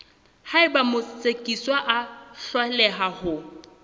haeba motsekiswa a hloleha ho